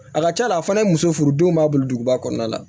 A ka ca la a fana muso furu denw b'a bolo duguba kɔnɔna la